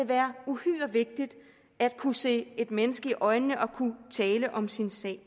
være uhyre vigtigt at kunne se et menneske i øjnene og kunne tale om sin sag